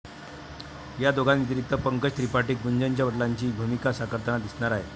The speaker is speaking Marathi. या दोघांव्यतिरिक्त पंकज त्रिपाठी गुंजनच्या वडिलांची भूमिका साकारताना दिसणार आहेत.